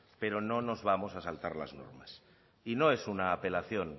pero no nos vamos a saltar las normas y no es una apelación